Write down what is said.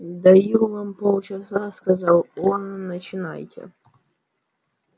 даю вам полчаса сказал он начинайте